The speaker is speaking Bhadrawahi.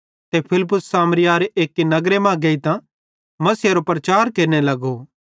ते फिलिप्पुस सामरियारे एक्की नगर मां गेइतां मसीहेरो प्रचार केरने लगो